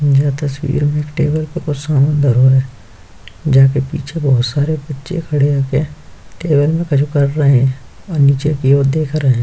यह तस्वीर में एक टेबल पर कुछ सामान धरो है जैके पीछे बहौत सारे बच्चे खड़े होके टेबल में कुछ कर रहे हैं और नीचे की ओर देख रहे --